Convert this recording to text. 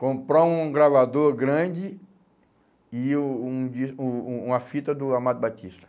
Comprar um gravador grande e o um dis um um uma fita do Amado Batista.